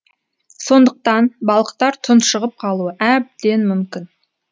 сондықтан балықтар тұншығып қалуы әбден мүмкін